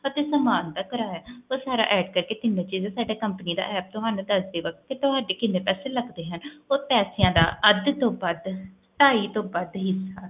ਸਾਮਾਨ ਦਾ ਕਰਾਇਆ ਉਹ ਸਾਡੇ company ਦਾ app ਤੁਹਾਨੂੰ ਦੱਸ ਦੇਗਾ ਤੇ ਤੁਹਾਡੇ ਕਿੰਨੇ ਪੈਸੇ ਲਗਦੇ ਹਨ ਉਹ ਪੇਸ਼ਾ ਦਾ ਅੱਧ ਤੋਂ ਵੱਧ ਢਾਈ ਤੋਂ ਵੱਧ ਹੀ